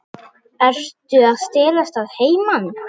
Ertu að stelast að heiman?